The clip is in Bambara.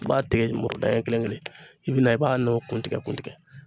I b'a tigɛ muru daɲɛ kelen i bi na i b'a n'o kun tigɛ kun tigɛ